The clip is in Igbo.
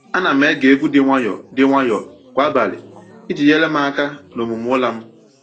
Ana m ege egwu dị nwayọọ dị nwayọọ kwa abalị iji nyere m aka n’omume ụra m.